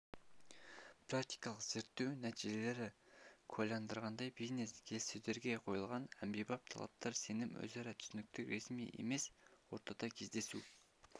практикалық зерттеу нәтижелері куәландырғандай бизнес келіссөздерге қойылатын әмбебап талаптар сенім өзара түсіністік ресми емес ортада кездесу